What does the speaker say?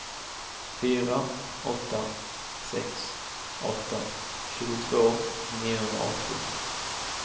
fyra åtta sex åtta tjugotvå niohundraåttio